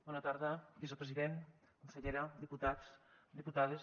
bona tarda vicepresident consellera diputats diputades